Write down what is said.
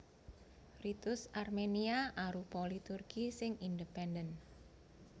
Ritus Armenia arupa liturgi sing independen